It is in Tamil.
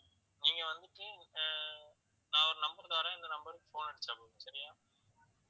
நீங்க வந்துட்டு ஆஹ் நான் ஒரு number தர்றேன் இந்த number க்கு phone அடிச்சா போதும் சரியா